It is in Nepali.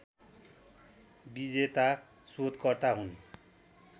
विजेता सोधकर्ता हुन्